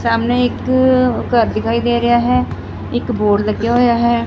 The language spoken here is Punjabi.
ਸਾਹਮਣੇ ਇੱਕ ਘਰ ਦਿਖਾਈ ਦੇ ਰਿਹਾ ਹੈ ਇੱਕ ਬੋਰਡ ਲੱਗਿਆ ਹੋਇਆ ਹੈ।